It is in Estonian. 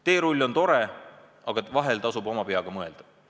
Teerull on tore, aga vahel tasub ka oma peaga mõelda.